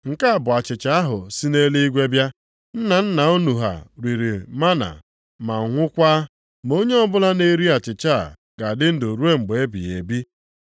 Nke a bụ achịcha ahụ si nʼeluigwe bịa. Nna nna unu ha riri mánà ma nwụkwaa, ma onye ọbụla na-eri achịcha a ga-adị ndụ ruo mgbe ebighị ebi.”